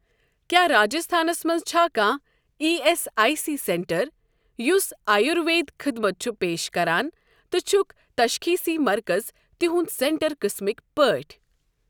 کیٛاہ راجستھانس مَنٛز چھا کانٛہہ E S I C centre یُس آیوروید خدمت چھُ پیش کران تہٕ چھُکھ تشخیٖصی مرکز تِہنٛدِ سینٹر قٕسمٕکۍ پٲٹھۍ؟